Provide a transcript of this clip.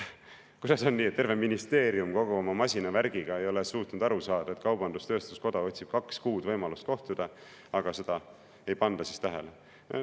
Kuidas on nii, et terve ministeerium kogu oma masinavärgiga ei ole suutnud aru saada, et kaubandus-tööstuskoda otsib kaks kuud võimalust kohtuda, aga seda ei panda tähele?